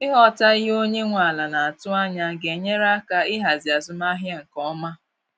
Ịghọta ihe onye nwe ala naatụ anya ga enyere aka ịhazi azụmahịa nke ọma.